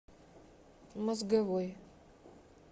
мозговой